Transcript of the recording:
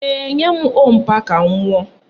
Ee, nye m ọ́ọ̀ mpa ka m ṅụọ